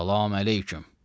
Salam əleyküm.